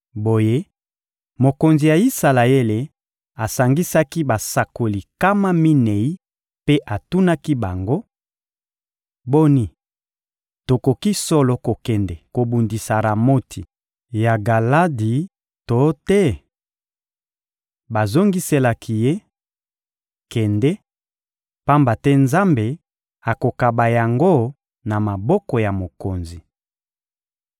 Boye, mokonzi ya Isalaele asangisaki basakoli nkama minei mpe atunaki bango: — Boni, tokoki solo kokende kobundisa Ramoti ya Galadi to te? Bazongiselaki ye: — Kende, pamba te Nzambe akokaba yango na maboko ya mokonzi.